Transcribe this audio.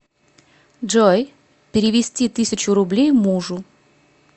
джой перевести тысячу рублей мужу